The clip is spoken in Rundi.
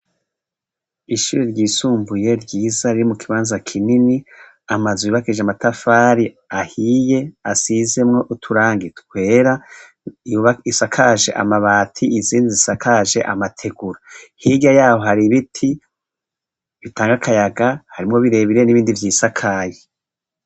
Ishure ryisumbuye ryiza riri mu kibanza kinini amazu yubakishije amatafari ahiye asizemwo uturangi twera isakaje amabati izindi zisakaje amategura hirya yaho hari ibiti bitanga akayaga harimwo bire bire n'ibindi vyisakaye.